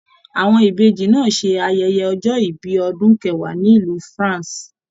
Àwọn Ìbejì náà se ayẹyẹ ọjọ ìbí ọdún kẹwàá nílu France.